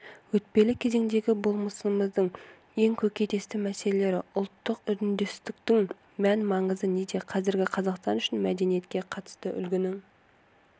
өтпелі кезеңдегі болмысымыздың ең көкейтесті мәселелері ұлттық үндестіктің мән-маңызы неде қазіргі қазақстан үшін мәдениетке қатысты үлгінің